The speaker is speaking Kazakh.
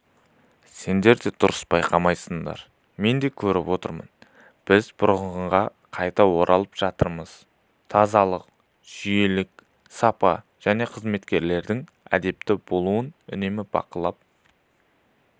сендер дұрыс бақыламайсыңдар мен де көріп отырмын біз бұрынғыға қайта оралып жатырмыз тазалық жүйелілік сапа және қызметкерлердің әдепті болуын үнемі бақылап